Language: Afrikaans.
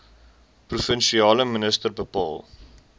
provinsiale minister bepaal